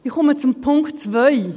Ich komme zum Punkt 2: